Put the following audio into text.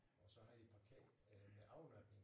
Og så havde de parkeret øh med afladning